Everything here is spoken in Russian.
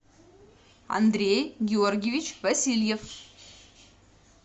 андрей георгиевич васильев